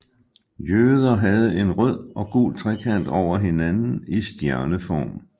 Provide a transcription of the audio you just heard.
Jøder havde en rød og gul trekant over hinanden i stjerneform